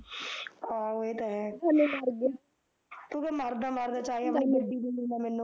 ਆਹੋ ਏਹ ਤਾਂ ਹੈ ਤੂੰ ਕਹਿ ਮਰਦਾ ਮਰਦਾ ਚਾਹੇ ਮੈਨੂੰ ਗੱਡੀ ਦੇ ਦਿੰਦਾ ਮੈਨੂੰ